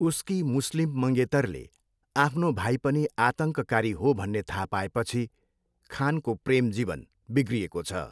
उसकी मुस्लिम मङ्गेतरले आफ्नो भाइ पनि आतङ्ककारी हो भन्ने थाहा पाएपछि खानको प्रेम जीवन बिग्रिएको छ।